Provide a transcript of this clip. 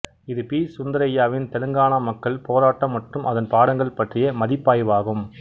இது பி சுந்தரய்யாவின் தெலுங்கானா மக்கள் போராட்டம் மற்றும் அதன் பாடங்கள் பற்றிய மதிப்பாய்வாகும்